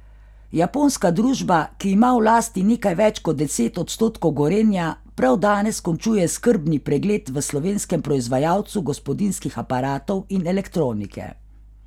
Japonska družba, ki ima v lasti nekaj več kot deset odstotkov Gorenja, prav danes končuje skrbni pregled v slovenskem proizvajalcu gospodinjskih aparatov in elektronike.